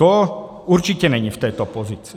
To určitě není v této pozici.